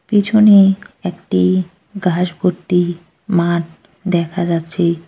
পিছনে একটি ঘাস ভর্তি মাঠ দেখা যাচ্ছে ।